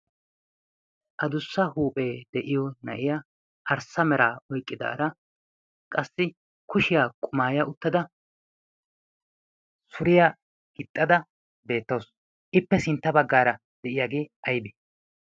a dussa huuphee de7iyo na7iya arssa mera oiqqidaara qassi kushiyaa qumaaya uttada suriyaa gixxada beettoosu ippe sintta baggaara de7iyaagee aibi